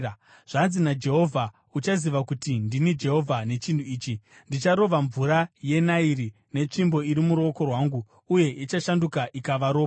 Zvanzi naJehovha: ‘Uchaziva kuti ndini Jehovha nechinhu ichi: Ndicharova mvura yeNairi netsvimbo iri muruoko rwangu uye ichashanduka ikava ropa.